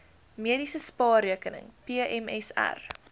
mediese spaarrekening pmsr